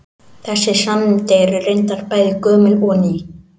Þessi sannindi eru reyndar bæði gömul og ný.